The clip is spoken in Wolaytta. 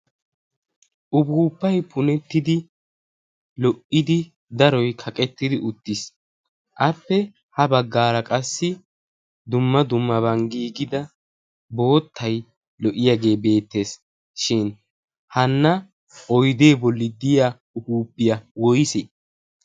Upuppay punettidi lo''idi daroy kaqettidi uttii, appe ha baggaara qassi dumma dummaban giigida boottay lo''iyaagee beettees shin hana oydde bolli diya upuppiya woysse?